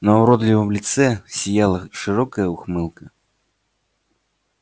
на уродливом лице сияла широкая ухмылка